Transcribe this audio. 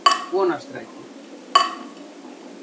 Vonarstræti